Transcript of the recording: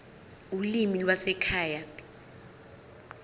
ulimi lwasekhaya p